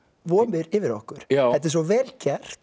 vofir yfir okkur þetta er svo vel gert